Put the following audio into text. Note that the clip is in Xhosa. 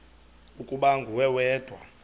ukuba nguwe wedwa